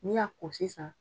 N'i y'a ko sisan